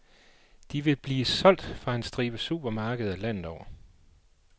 De vil blive solgt fra en stribe supermarkeder landet over.